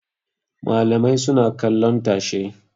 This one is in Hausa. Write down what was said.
Malamai suna kallon tashe.